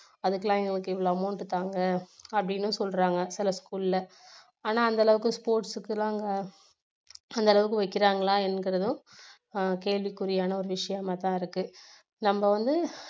அதுக்கெல்லாம் எங்களுக்கு இவ்வளவு amount தாங்க அப்படின்னு சொல்றாங்க சில school ல ஆனா அந்த அளவுக்கு sports க்கு எல்லாம் அங்க அந்த அளவுக்கு வைக்குறாங்களா என்குறதும் ஆஹ் கேள்விக்குறியான ஒரு விஷயமா தான் இருக்கு நம்ம வந்து